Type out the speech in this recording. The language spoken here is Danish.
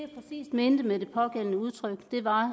mente med det pågældende udtryk